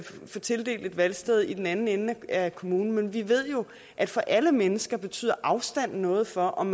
få tildelt et valgsted i den anden ende af kommunen men vi ved jo at for alle mennesker betyder afstanden noget for om